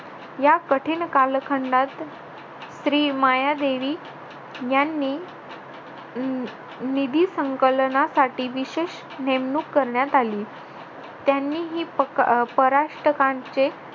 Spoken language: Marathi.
या कठीण कालखंडात श्री मायादेवी यांनी निधी संकलनासाठी विशेष नेमणूक करण्यात आली त्यांनी ही परराष्ट्रकांचे